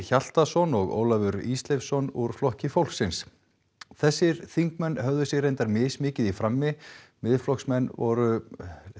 Hjaltason og Ólafur Ísleifsson úr Flokki fólksins þessir þingmenn höfðu sig reyndar mismikið frammi Miðflokksmenn voru